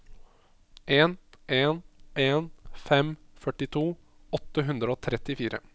en en en fem førtito åtte hundre og trettifire